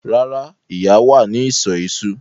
Rárá, Ìyá wà ní ìsọ̀ iṣu.